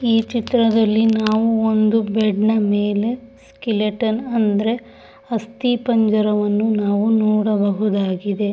ಈ ಚಿತ್ರದಲ್ಲಿ ನಾವು ಒಂದು ಬೆಡ್ ನ ಮೇಲೆ ಸ್ಕೆಲಿಟನ್ ಅಂದರೆ ಅಸ್ತಿ ಪಂಜರವನ್ನು ನಾವು ನೋಡಬಹುದಾಗಿದೆ.